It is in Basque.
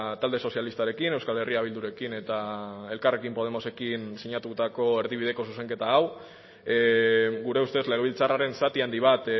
talde sozialistarekin euskal herria bildurekin eta elkarrekin podemosekin sinatutako erdibideko zuzenketa hau gure ustez legebiltzarraren zati handi bat